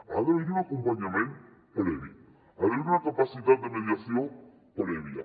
ha d’haver hi un acompanyament previ ha d’haver hi una capacitat de mediació prèvia